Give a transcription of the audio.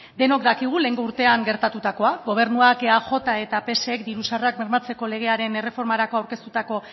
denok dakigu lehengo urtean gertatutakoa gobernuak eaj eta psek diru sarrerak bermatzeko legearen erreformarako aurkeztutako